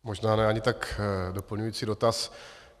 Možná ne ani tak doplňující dotaz.